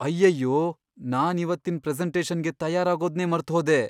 ಅಯ್ಯಯ್ಯೋ! ನಾನಿವತ್ತಿನ್ ಪ್ರೆಸೆಂಟೇಷನ್ಗೆ ತಯಾರಾಗೋದ್ನೇ ಮರ್ತ್ಹೋದೆ.